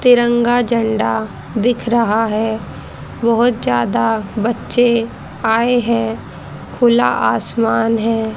तिरंगा झंडा दिख रहा है बहोत ज्यादा बच्चे आए हैं खुला आसमान है।